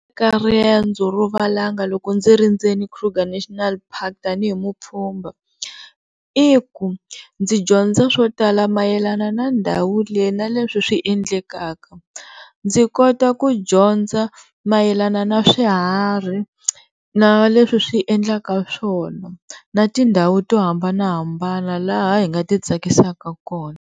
Eka rendzo rovalanga loko ndzi ri ndzeni Krugar National park tanihi mupfumba i ku ndzi dyondza swo tala mayelana na ndhawu liya na leswi swendlekaka ndzi kota ku dyondza mayelana na swiharhi na leswi swiendlaka swona na tindhawu to hambanahambana laha hi nga ti tsakisaka kona.